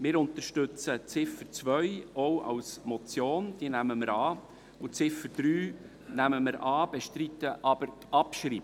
Wir unterstützen die Ziffer 2 auch als Motion, und die Ziffer 3 nehmen wir an und bestreiten die Abschreibung.